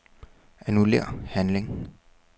Annullér handling.